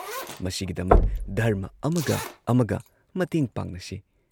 ꯃꯁꯤꯒꯤꯗꯃꯛ ꯙꯔꯃ ꯑꯃꯒ ꯑꯃꯒ ꯃꯇꯦꯡ ꯄꯥꯡꯅꯁꯤ ꯫